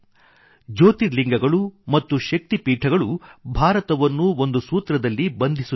ಜ್ಯೋತಿರ್ಲಿಂಗಗಳು ಮತ್ತು ಶಕ್ತಿಪೀಠಗಳು ಭಾರತವನ್ನು ಒಂದು ಸೂತ್ರದಲ್ಲಿ ಬಂಧಿಸುತ್ತವೆ